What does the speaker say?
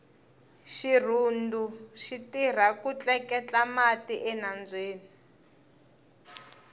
xirhundu xitirha ku tleketla mati enambyeni